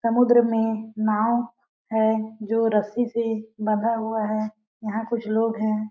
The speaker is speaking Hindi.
समुद्र में नाव है जो रस्सी से बंधा हुआ है यहाँ कुछ लोग है।